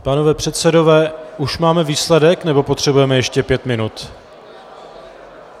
Pánové předsedové, už máme výsledek, nebo potřebujeme ještě pět minut?